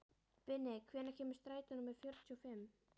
Binni, hvenær kemur strætó númer fjörutíu og fimm?